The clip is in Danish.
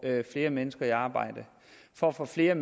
flere mennesker i arbejde for at få flere